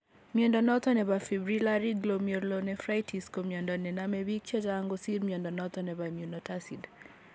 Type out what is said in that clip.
Mnondo noton nebo Fibrillary glomeurlonephritis ko mnyondo nenome biik chechang kosir mnyondo noton nebo immunotacid